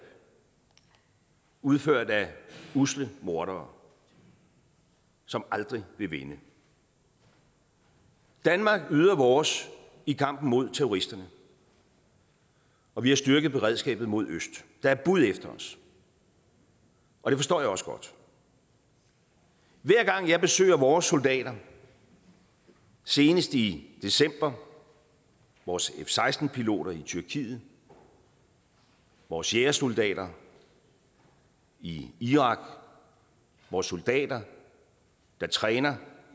udført af usle mordere som aldrig vil vinde i danmark yder vi vores i kampen mod terroristerne og vi har styrket beredskabet mod øst der er bud efter os og det forstår jeg også godt hver gang jeg besøger vores soldater senest i december vores f seksten piloter i tyrkiet vores jægersoldater i irak vores soldater der træner